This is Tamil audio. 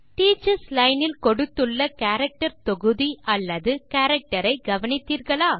டீச்சர்ஸ் லைன் இல் கொடுத்துள்ள கேரக்டர் தொகுதி அல்லது கேரக்டர் ஐ கவனித்தீர்களா